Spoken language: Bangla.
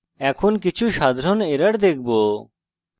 এখন আমরা কিছু সাধারণ errors দেখব যা আমরা পেতে পারি